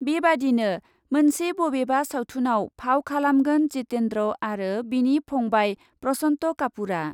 बेबायदिनो मोनसे बबेबा सावथुनआव फाव खालामगोन जितेन्द्र आरो बिनि फंबाय प्रसन्त कापुरआ ।